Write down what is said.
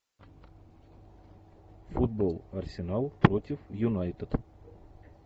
футбол арсенал против юнайтед